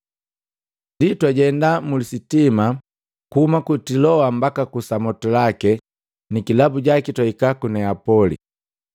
Ndi twajenda muli jojoma kuhuma ku Tiloa mbaka ku Samotilake, ni kilabu jaki twahika ku Neapoli.